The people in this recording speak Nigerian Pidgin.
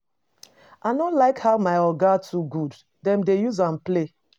I no like how my Oga too good. Dem dey use am play.